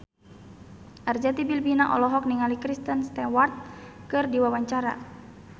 Arzetti Bilbina olohok ningali Kristen Stewart keur diwawancara